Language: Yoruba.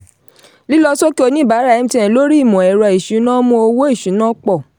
lílọsókè oníbàárà mtn lórí ìmọ̀-ẹ̀rọ ìsúná mú owó ìsúná pọ̀.